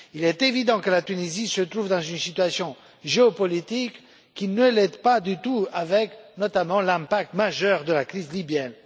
Il est évident que la Tunisie se trouve dans une situation géopolitique qui ne l'aide pas du tout, avec notamment l'impact majeur de la crise libyenne.